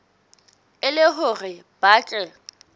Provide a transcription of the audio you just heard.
e le hore ba tle